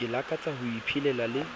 ke lakatsang ho iphelela le